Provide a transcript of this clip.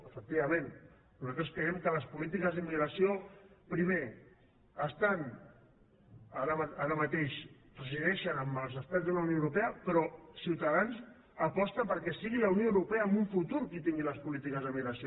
efectivament nosaltres creiem que les polítiques d’immigració primer estan ara mateix resideixen als estats de la unió europea però ciutadans aposta perquè sigui la unió europea en un futur qui tingui les polítiques d’immigració